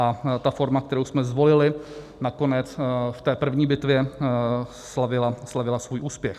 A ta forma, kterou jsme zvolili, nakonec v té první bitvě slavila svůj úspěch.